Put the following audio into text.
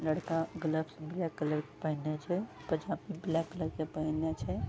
लड़का gloves black colour के पेहनने छै पजामा ब्लैक कलर के पेहनने छै ।